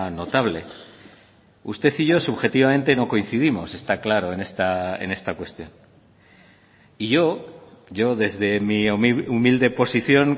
notable usted y yo subjetivamente no coincidimos está claro en esta cuestión y yo yo desde mi humilde posición